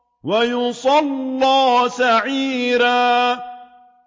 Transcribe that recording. وَيَصْلَىٰ سَعِيرًا